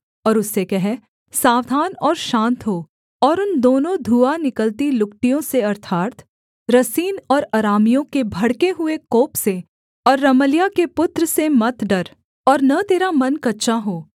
और उससे कह सावधान और शान्त हो और उन दोनों धुआँ निकलती लुकटियों से अर्थात् रसीन और अरामियों के भड़के हुए कोप से और रमल्याह के पुत्र से मत डर और न तेरा मन कच्चा हो